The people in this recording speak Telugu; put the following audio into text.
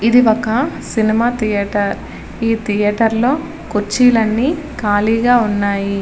ఇది ఒక సినిమా థియేటర్ ఈ థియేటర్ లో కుచ్చిళ్లు అన్ని కాలీగా ఉనాయి.